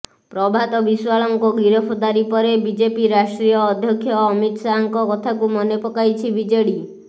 ପ୍ରଭାତ ବିଶ୍ୱାଳଙ୍କ ଗିରଫଦାରୀ ପରେ ବିଜେପି ରାଷ୍ଟ୍ରୀୟ ଅଧ୍ୟକ୍ଷ ଅମିତ ଶାହାଙ୍କ କଥାକୁ ମନେ ପକାଇଛି ବିଜେଡି